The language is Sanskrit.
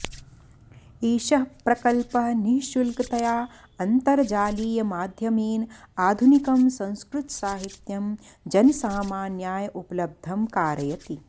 एषः प्रकल्पः निःशुल्कतया अन्तर्जालीयमाध्यमेन आधुनिकं संस्कृतसाहित्यं जनसामान्याय उपलब्धं कारयति